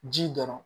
Ji dɔrɔn